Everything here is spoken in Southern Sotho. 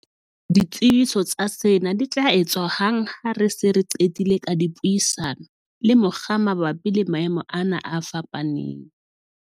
"Ditsebiso tsa sena di tla etswa hang ha re se re qetile ka dipuisano le mokga mabapi le maemo ana a fapaneng."